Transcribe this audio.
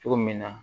Cogo min na